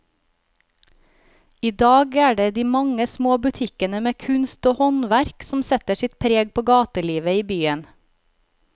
I dag er det de mange små butikkene med kunst og håndverk som setter sitt preg på gatelivet i byen.